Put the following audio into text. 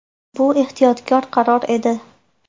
Bu ehtiyotkor qaror edi.